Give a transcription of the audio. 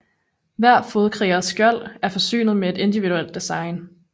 Hver fodkrigers skjold er forsynet med et individuelt design